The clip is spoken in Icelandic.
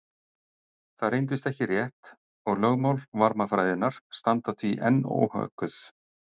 Það reyndist ekki rétt og lögmál varmafræðinnar standa því enn óhögguð.